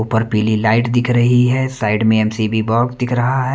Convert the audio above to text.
ऊपर पीली लाइट दिख रही है साइड में एम_सी_बी बॉक्स दिख रहा है।